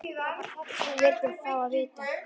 Það var bara þetta sem við vildum fá að vita.